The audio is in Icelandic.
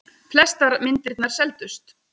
Flestar myndirnar seldust.